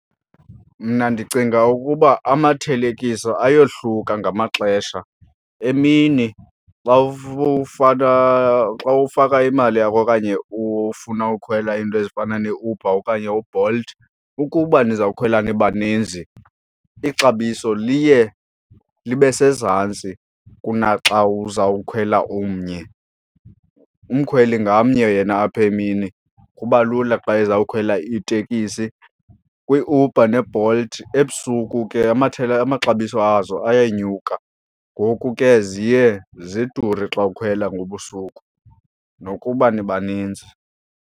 Mna ndicinga ukuba amathelekiso ayohluka ngamaxesha. Emini xa faka, xa ufaka imali yakho okanye ufuna ukhwela iinto ezifana neeUber okanye uBolt, ukuba nizawukhwela nibaninzi ixabiso liye libe sezantsi kunaxa uzawukhwela umnye. Umkhweli ngamnye yena apha emini kuba lula xa ezawukhwela itekisi. KwiUber neBolt ebusuku ke amaxabiso azo ayanyuka ngoku ke ziye zidure xawukhwela ngobusuku nokuba nibaninzi.